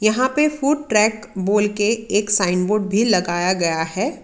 यहां पे food track बोल के एक साइन बोर्ड भी लगाया गया है।